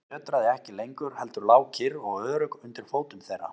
Jörðin nötraði ekki lengur heldur lá kyrr og örugg undir fótum þeirra.